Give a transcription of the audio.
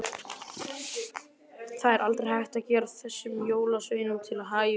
Það er aldrei hægt að gera þessum jólasveinum til hæfis.